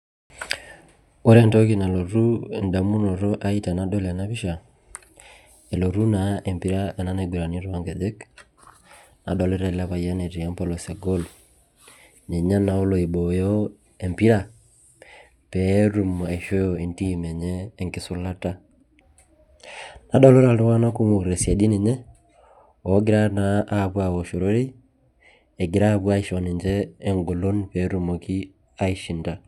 Ore entoki nalotu edamunoto ai tenadol ena pisha, elotu naa empira ena naigurani toonkejek. Nadolita ele payian etii empolos egool, ninye naa olo aibooyo empira, petum aishoo entim enye enkisulata. Adolita iltung'anak otii tesiadi ninye, ogira naa apuo awosh ororei, egira apuo aisho ninche engolon petumoki aishinda.